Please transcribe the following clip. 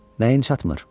Nəyin çatmır?